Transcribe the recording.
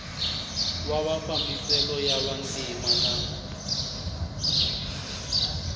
wa mafambiselo ya vantima na